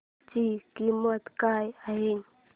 ची किंमत काय आहे